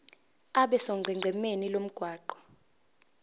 abe sonqenqemeni lomgwaqo